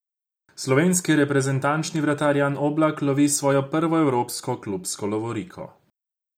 Slovenski reprezentančni vratar Jan Oblak lovi svojo prvo evropsko klubsko lovoriko.